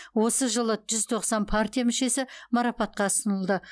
осы жылы жүз тоқсан партия мүшесі марапатқа ұсынылды